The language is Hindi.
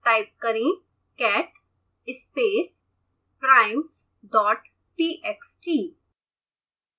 टाइप करें catspaceprimesdottxt